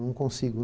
Não consigo.